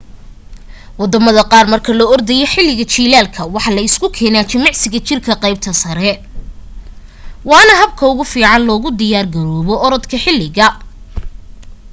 wadamada qaar marka la ordaya xiliga jilaalka waxa la isku keena jimicsiga jirka qeybta sare waana habka ugu fiican loogu diyaar garoobo oradka xiliga